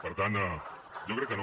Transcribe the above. per tant jo crec que no